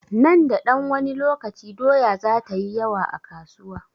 Nan da ɗan wani lokaci, doya za ta yi yawa a kasuwa.